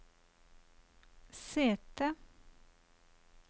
sete